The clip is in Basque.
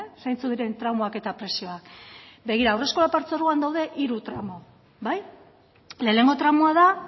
zeintzuk diren tramoak eta prezioak begira haurreskolak partzuergoan daude hiru tramo bai lehenengo tramoa da